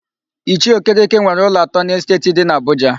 Ichie Okereke nwere ụlọ atọ n'Esteeti dị n'Abụja.